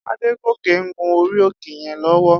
Adegoke n gún óri óké yèn lòwò